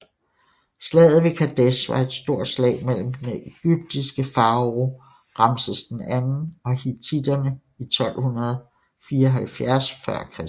Slaget ved Kadesh var et stort slag mellem den ægyptiske farao Ramses II og hittitterne i 1274 f